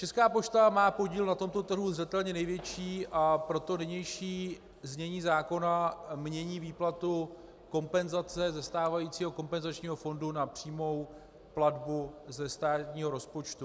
Česká pošta má podíl na tomto trhu zřetelně největší, a proto nynější znění zákona mění výplatu kompenzace ze stávajícího kompenzačního fondu na přímou platbu ze státního rozpočtu.